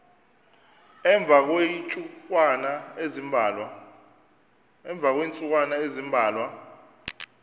emva kweentsukwana ezimbalwa